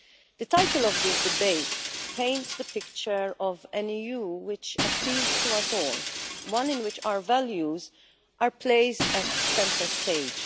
The title of this debate paints the picture of an EU which appeals to us all, one in which our values are placed at centre stage.